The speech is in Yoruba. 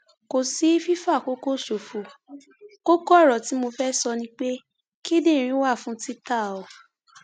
kò sí fífàkókò ṣòfò kókó ọrọ tí mo fẹẹ sọ ni pé kíndìnrín wà fún títà o